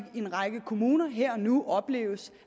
en række kommuner her og nu opleves